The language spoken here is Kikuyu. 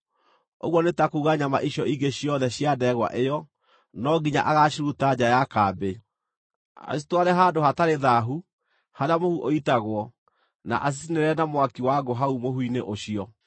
ũguo nĩ ta kuuga nyama icio ingĩ ciothe cia ndegwa ĩyo, no nginya agaaciruta nja ya kambĩ, acitware handũ hatarĩ thaahu, harĩa mũhu ũitagwo, na acicinĩre na mwaki wa ngũ hau mũhu-inĩ ũcio.